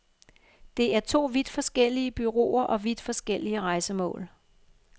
Det er to vidt forskellige bureauer og vidt forskellige rejsemål.